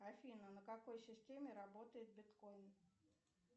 афина на какой системе работает биткоин